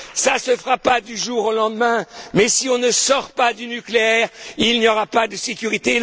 Cela ne se fera pas du jour au lendemain, mais si on ne sort pas du nucléaire, il n'y aura pas de sécurité.